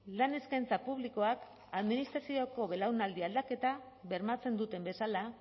lan eskaintza publikoak administrazioko belaunaldi aldaketa bermatzen duten bezala